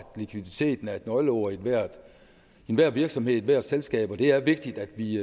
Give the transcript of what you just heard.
likviditeten er et nøgleord i enhver virksomhed ethvert selskab og det er vigtigt at vi